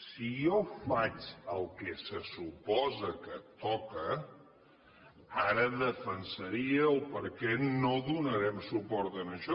si jo faig el que suposa que toca ara defensaria per què no donarem suport a això